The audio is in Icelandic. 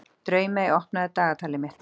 Draumey, opnaðu dagatalið mitt.